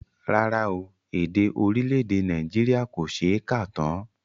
Rárá o, èdè orílẹ̀èdè Nàìjíríà kò ṣe é kà tán